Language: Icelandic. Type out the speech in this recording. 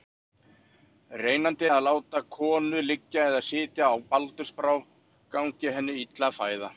Reynandi er að láta konu liggja eða sitja á baldursbrá gangi henni illa að fæða.